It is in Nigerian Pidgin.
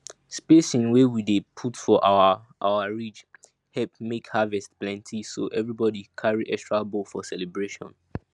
spacing wey we dey put for our our ridge help make harvest plenty so everybody carry extra bowl for celebration